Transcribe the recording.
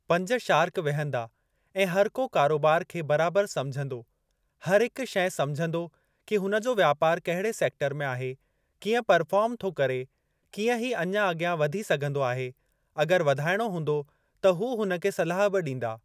पंज शार्क विहंदा ऐं हर को कारोबार खे बराबर समझंदो। हर हिकु शइ सम्झंदो कि हुन जो व्यापार कहिड़े सेक्टर में आहे, कीअं परफोर्म थो करे, कीअं ही अञां अॻियां वधी सघंदो आहे, अॻर वधाइणो हूंदो त हू हुन खे सलाह बि ॾींदा।